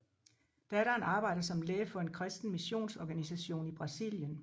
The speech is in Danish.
Datteren arbejder som læge for en kristen missionsorganisation i Brasilien